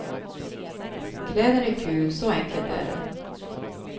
Kläder är kul, så enkelt är det.